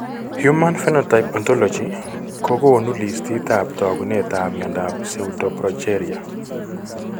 Human Phenotype ontology kokoonu listiitab taakunetaab myodap pseudoprogeria.